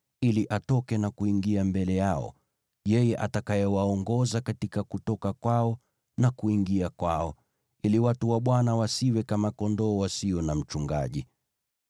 ili atoke na kuingia mbele yao, atakayewaongoza katika kutoka kwao na kuingia kwao, ili watu wa Bwana wasiwe kama kondoo wasio na mchungaji.”